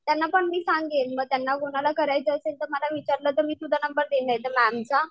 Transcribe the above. त्यांना पण मी सांगेल मग त्यांना कोणाला करायचं असेल तर मला विचारलं तर मी तुझा नंबर देईल नाहीतर मॅमचा.